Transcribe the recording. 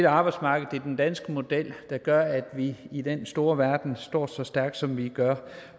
arbejdsmarkedet den danske model der gør at vi i den store verden står så stærkt som vi gør